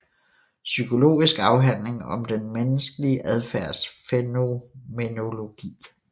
Psykologisk afhandling om den menneskelige adfærds fænomenologi